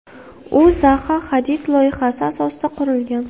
U Zaha Hadid loyihasi asosida qurilgan.